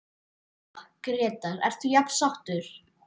Lóa: Grétar, ert þú jafn sáttur?